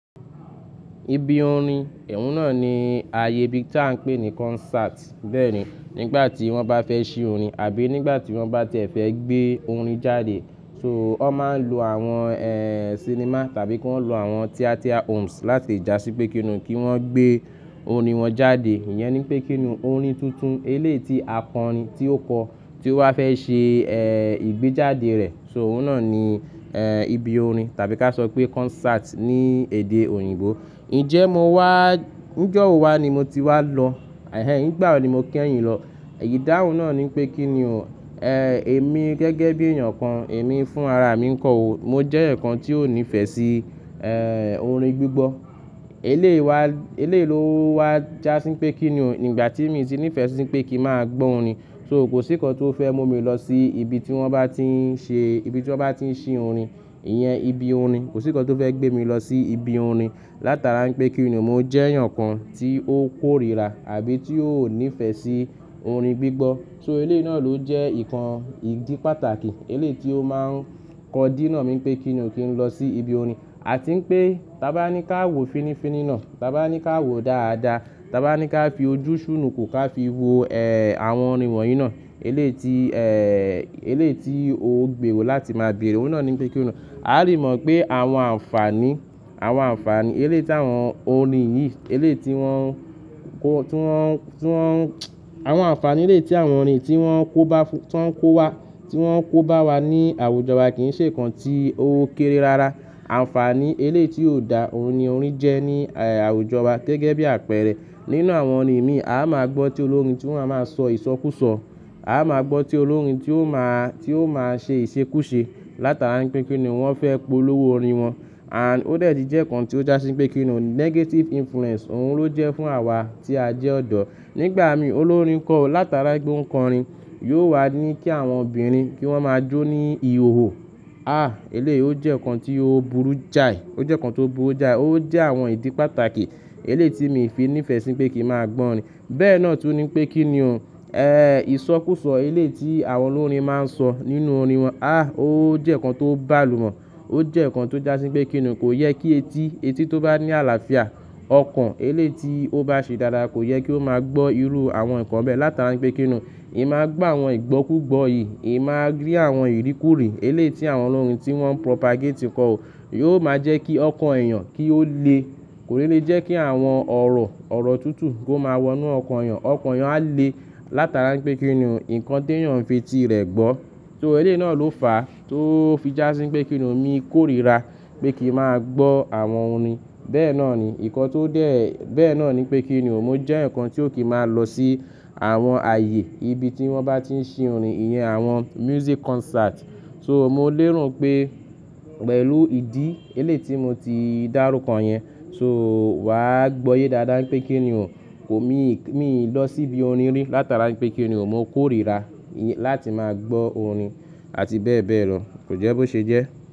Ibi orin, ohun náà ni ààyè bi ta n pé ní concert. Bẹ́ẹ̀ ni nígbà tí wọ́n bá fẹ́ ṣe orin àbí nígbà tí wọ́n bá ti é fẹ́ gbé orin jáde. So wọ́n máa ń lo àwọn, eh, cinema tàbí kí wọ́n lo àwọn theatre homes láti le jásí pé kíni kí wọ́n gbé orin wọn jáde. Iyẹn ni pé kíni orin tuntun eléeti akọrin tí ó kọ, tí ó wá fẹ́ ṣe, eh, ìgbéjáde rẹ. So òun náà ni, eh, ibi orin tàbí ká sọ pé concert ní èdè òyìnbó. Ǹjẹ́ mo wá, ijọ́wo wa ni mo ti wá lọ. Ẹ̀hẹn, nígbà wo ni mo kí ẹ̀yin lọ? Ìdáhùn náà ni pé kíni o, eh, èmi gẹ́gẹ́ bí èèyàn kan, èmi fún ara mi ń kọ ó. Mo jẹ́ eeyaǹ kan tí ó ní ìfẹ́ sí, eh, orin gbígbọ́. Elééyi wa, elééyi ló wá jásí pé kíni, ígbà tí èmi ti ní ìfẹ́ sí pé kí n máa gbọ́ orin. So kò sí ǹkan tí ó fẹ́ mú mi lọ sí ibi tí wọ́n bá ti ń ṣe, ibi tí wọ́n bá ti ń ṣe orin. Iyẹn ibi orin. Kò sí ǹkan tí ó fẹ́ gbé mi lọ sí ibi orin. Látara n pé kíni mo jẹ́ èèyàn kan tí ó kórìíra àbí tí ó ò ní ìfẹ́ sí orin gbígbọ́. So eléèyi náà ló jẹ́ nǹkan, ìdí pàtàkì, elééyi ti ó máa ń kọ dí nà mí pé kín lọ sí ibi orin. A ti ń pé tá bá ní ká wò finifini náà, tá bá ní ká wò dáadáa, tá bá ní ká fi ojú ṣúnúku ká fi wo, eh, àwọn orin wọ̀nyí náà. Elééyi ti, eh, elééyi ti ó gbèrò láti máa bèèrè. Òun náà ni pé kí o. A lè mọ̀ pé àwọn àǹfàní, àwọn àǹfàní elééyi ti àwọn orin yìí, elééyi ti wọ́n kó, tí wọ́n, tí wọ́n, àwọn àǹfàní elééti àwọn orin tí wọ́n kóba, tí wọ́n kó wá, tí wọ́n kó bá wa ní àwùjọ wa kì í ṣe ǹkan tí ó kéré rara. Àǹfàní elééyi ti ò dá ohun ni orin jẹ́ ní, eh, àwùjọ wa gẹ́gẹ́ bí àpẹẹrẹ. Nínú àwọn orin mii, a máa gbọ́ tí olórin tí wọ́n a máa sọ ìsọkúsọ. A máa gbọ́ tí olórin tí ó máa, tí ó máa ṣe ìṣekúṣe. Látara n pé kíni wọ́n fẹ́ polówó orin wọn. And ó dàtí jẹ́ ǹkan tí ó jásí pé kíni o negative influence òun ló jẹ́ fún àwa tí a jẹ́ ọ̀dọ́. Nígbà mi, olórin kọ́, látara pé ó ń kọ orin, yóò wá ní kí àwọn obìnrin kí wọ́n máa jó ní ihòhò. Ah! Elééyi ó jẹ́ ǹkan tí ó burú jáì. Ó jẹ́ ǹkan tó burú jáì. Ó jẹ́ àwọn ìdí pàtàkì elééti mi fi ní ìfẹ́ sí pé kí n máa gbọ́ orin. Bẹ́ẹ̀ náà tu ni pé kíni o, eh, ìsọkúsọ elééyi ti àwọn olórin máa ń sọ nínú orin wọn. Ah! Ó jẹ́ ǹkan tó bá lù mọ. Ó jẹ́ ǹkan tí ó jásí pé kíni kò yẹ kí etí, etí tó bá ní àlàáfíà, ọkàn elééyi ti ó bá ṣe dáadáa kò yẹ kí ó máa gbọ́ irú àwọn ǹkan bẹ́ẹ̀. Látara pé kíni ì máa gbọ́ àwọn ìgbọ́kúgbọ̀ yìí, ì máa rí àwọn ìríkúrì elééyi ti àwọn olórin tí wọ́n propagate kọ́, yóò máa jẹ́ kí ọkàn èèyàn kí ó le. Kò ní lè jẹ́ kí àwọn ọ̀rọ̀, ọ̀rọ̀ tútù kó máa wọ inú ọkàn èèyàn. Ọkàn èèyàn á le látara pé kíni o ǹkan tí èèyàn ń fi ti rẹ̀ gbọ́. So eléèti náà ló fàá tó fi jásí pé kíni mí kórìíra pé kí n máa gbọ́ àwọn orin. Bẹ́ẹ̀ náà ni, ǹkan tó dé, bẹ́ẹ̀ náà ni pé kíni mo jẹ́ eeyan kan tí ó kìn máa n lọ sí àwọn ààyè ibi tí wọ́n bá ti ń ṣe orin. Iyẹn àwọn music concert. So mo léèro n pé pẹ̀lú ìdí elééyi ti mo ti dárúkọ yẹn. So wà á gbọ́yé dáadáa pé kíni o, kò mí, mí lọ sí ibi orin rí látara pé kíni o mo kórìíra láti máa gbọ́ orin àti bẹ́ẹ̀ bẹ́ẹ̀ lọ. Kò jẹ́ bó ṣe jẹ́.